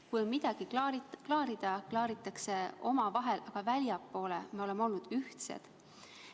Kui on midagi klaarida, klaaritakse omavahel, aga väljapoole me oleme näidanud ennast ühtsena.